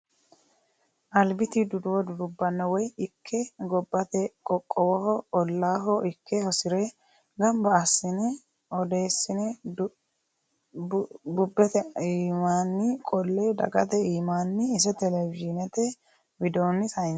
Albiti duduwo dudubbano woyi ikke gobbate qoqqowoho ollaho ikke hosire gamba assine odeessine bubbete iimanni qolle dagate iimani ise televizhishinete widooni saynsanni.